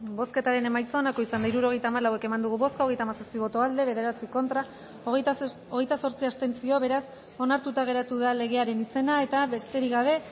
bozketaren emaitza onako izan da hirurogeita hamalau eman dugu bozka hogeita hamazazpi boto aldekoa bederatzi contra hogeita zortzi abstentzio beraz onartuta geratu da legearen izena eta besterik gabe